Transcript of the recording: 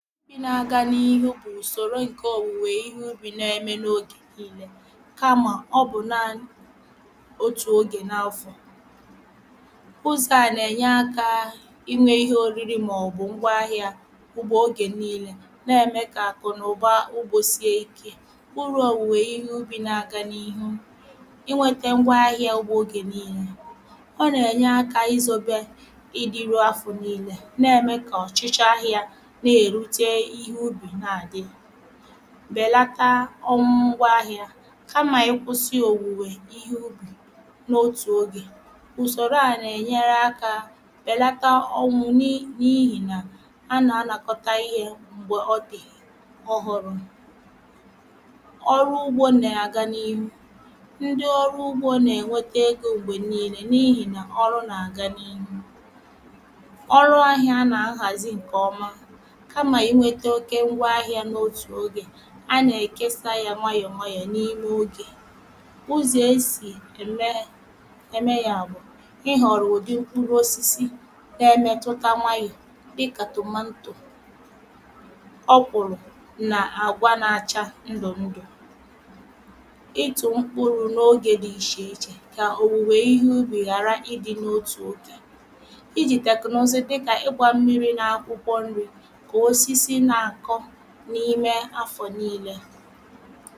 ị na-aga n’ihu bù ùsòrò ǹke òwùwè ihu bị na-eme n’ogè niile kamà ọ bụ̀ naanị̇ otù ogè na afo. ụzọ̀ a nà-ènye aka a iwe ihe òrịrị màọ̀bụ̀ ngwa ahị̇ȧ ùgbò ogè niile na-eme kà àkụ̀nụ̀ba ugbȯ sie ike kpuru òwùwè ihe ịbị na-aga n’ihu inwete ngwa ahị̇ȧ ùgbò ogè niile. ọ nà-ènye aka izȯbė ịdị rụọ afù n’i̇lė na-ème kà ọchịchọ ahị̇ȧ na erute ubi na bèlata ọnwụ ngwa ahị̇ȧ kamà ị kwụsị òwùwè ihe ubì n’otù ogè ùsòrò à na-ènyere akȧ bèlata ọnwụ̇ n’ihì nà anà anàkọta ihė m̀gbè ọdì ọhụrụ̇. ọrụ ugbȯ nà-àga n’ihu ndi ọrụ ugbȯ nà-ènweta egȯ m̀gbè niile n’ihì nà ọrụ nà àga n’ihu. Ọrụ ahịa na aghazi nke ọma kama inweta nnukwu ngwaahịa n'otu oge a nà-èkesa yȧ nwayọ̀ nwayọ̀ n’ime ogè. ụzọ̀ esì ème ème yȧ bụ̀ ị họ̀rọ̀ ùdị mkpụrụ̇ osisi na-emetụta nwayọ̀ dịkà tòmantò, ọkwụ̀rụ̀ nà àgwa n’acha ndụ̀ ndụ̀. itu mkpụrụ̇ n’ogė dị ịche ịchè kà òwùwè ihe ubì ghàra ị dị̇ n’otù ogè iji̇ tèknụzị dịkà ịgwȧ mmiri̇ na akwụkwọ nri̇ ka osisi na akọ n’ime afọ niile